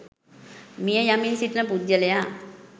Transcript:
මිය යමින් සිටින පුද්ගලයා